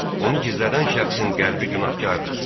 Onu gizlədən şəxsin qəlbi günahkardır.